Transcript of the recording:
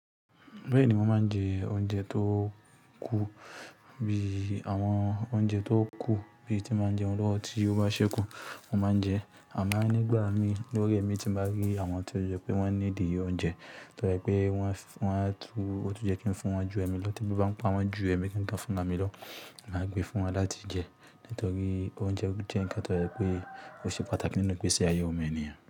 Bẹ́ẹ̀ni mo máa ń jẹ oúnjẹ tó kú bí àwọn oúnjẹ tó kú bí tí mo máa ń jẹun lọ́wọ́ tí ó bá ṣẹ́kù mo máa ń jẹ. Àmo nígbà mii, ni ori emi, tí mo bá rí àwọn tó jẹ́ pé wọ́n need òúnjẹ tó jẹ́ pé wọ́n tun, ó tun ye kí n fún wọn ju ẹmi lọ tí ebí bá ń pa wọ́n ju ẹmi gangan fúnra mi lọ, máa gbé fún wọn láti jẹ. Nítorí oúnjẹ jẹ́ ǹkan tó jẹ́ pé ó ṣe pàtàkì nínú igbesi ayẹ ọmọ ènìyàn.